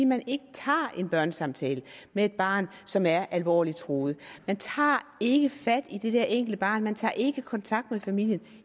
man ikke tager en børnesamtale med et barn som er alvorligt truet man tager ikke fat i det der enkelte barn man tager ikke kontakt med familien